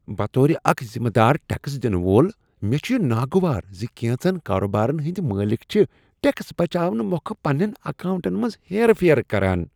بطور اکھ ذمہٕ دار ٹیکس دنہٕ وول، مےٚ چھ یہ ناگوار ز کینژن کاروبارن ہٕندۍ مٲلک چھ ٹیکس بچاونہٕ مۄکھٕ پننین اکاونٹن منز ہیرٕ پھیرٕ کران۔